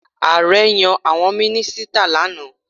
Ààrẹ yan àwọn mínísítà lánàá.